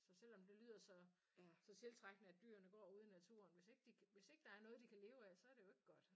Så selvom det lyder så så tiltrækkende at dyrene går ude i naturen hvis ikke de hvis ikke der er noget de kan leve af så det jo ikke godt